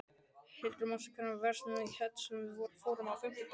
Hildir, manstu hvað verslunin hét sem við fórum í á fimmtudaginn?